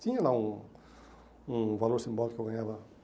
Tinha lá um um valor simbólico que eu ganhava.